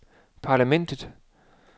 parlamentet